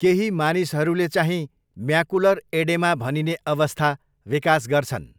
केही मानिसहरूले चाहिँ म्याकुलर एडेमा भनिने अवस्था विकास गर्छन्।